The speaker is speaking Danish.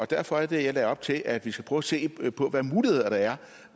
derfor er det at jeg lagde op til at vi skal prøve at se på hvilke muligheder der er